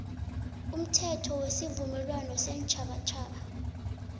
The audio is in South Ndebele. umthetho wesivumelwano seentjhabatjhaba